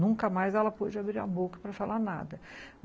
Nunca mais ela pôde abrir a boca para falar nada.